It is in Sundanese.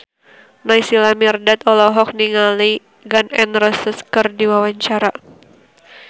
Naysila Mirdad olohok ningali Gun N Roses keur diwawancara